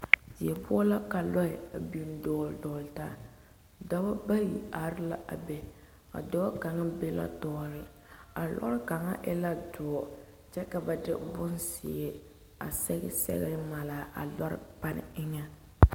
Die poɔ la ka lɔɛ a biŋ dɔɔle dɔɔle taa, dɔbɔ bayi are la a be a dɔɔ kaŋa be la tɔɔre a lɔre kaŋa e la doɔ kyɛ ka ba de bonzeɛ a sɛge sɛgere mare a lɔre pane eŋɛ.